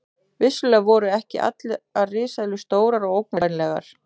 Vissulega voru ekki allar risaeðlur stórar og ógnvænlegar.